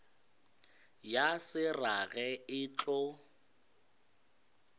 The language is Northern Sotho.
ya se rage e tlo